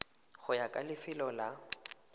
go ya ka lefelo la